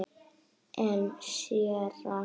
En séra